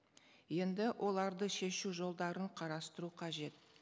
енді оларды шешу жолдарын қарастыру қажет